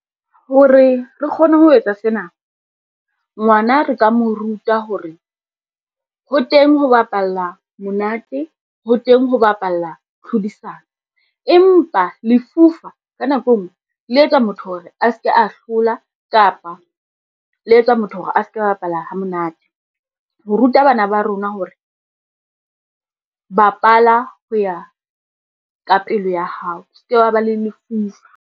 Hore re kgone ho etsa sena, ngwana re ka mo ruta hore, ho teng ho bapalla monate ho teng ho bapalla tlhodisano. Empa lefufa ka nako e ngwe le etsa motho hore a ske a hlola kapa le etsa motho hore a ska bapala ha monate. Ho ruta bana ba rona hore, bapala ho ya ka pelo ya hao, o ske wa ba le lufufa.